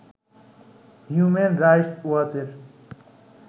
human rights ওয়াচের